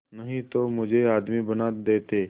नहीं तो मुझे आदमी बना देते